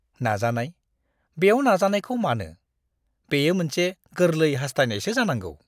नाजानाय? बेयाव नाजानायखौ मानो; बेयो मोनसे गोरलै हास्थायनायसो जानांगौ!